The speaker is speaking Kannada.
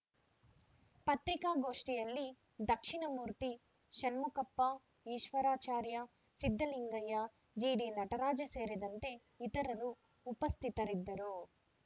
ಪತ್ರಿಕಾಗೋಷ್ಠಿಯಲ್ಲಿ ದಕ್ಷಿಣ ಮೂರ್ತಿ ಷಣ್ಮುಖಪ್ಪ ಈಶ್ವರಚಾರ್‌ ಸಿದ್ದಲಿಂಗಯ್ಯ ಜಿಡಿ ನಟರಾಜ್‌ ಸೇರಿದಂತೆ ಇತರರು ಉಪಸ್ಥಿತರಿದ್ದರು